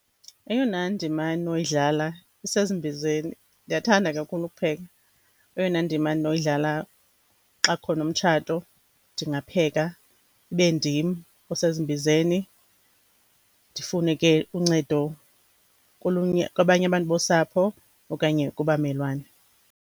Eyona ndima ndinoyidlala isezimbizeni, ndiyathanda kakhulu ukupheka. Eyona ndima ndinoyidlala xa kukhona umtshato ndingapheka, ibe ndim osezimbizeni, ndifune ke uncedo kolunye kwabanye abantu bosapho okanye kubamelwane.